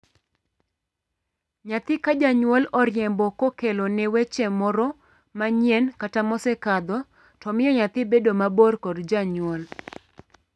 Nyathi ka janyuol oriembo kokelone wach moro manyien kata mosekadho to miyo nyathi bedo mabor kod janyuol.